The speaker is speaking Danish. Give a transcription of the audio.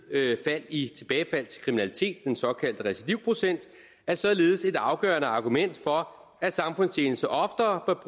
fald i tilbagefald til kriminalitet den såkaldte recidivprocent er således et afgørende argument for at samfundstjeneste oftere